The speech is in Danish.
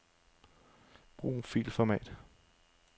Brug filformat.